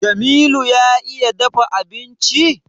Jamilu ya iya dafa abinci?